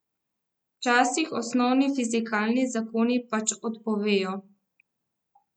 Včasih osnovni fizikalni zakoni pač odpovejo.